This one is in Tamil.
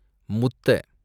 முத்த